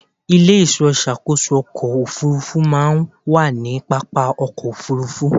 Ilé-ìṣọ́ ìṣàkóso ọkọ̀ Òfurufú máa ń wà ní pápá ọkọ̀ Òfurufú.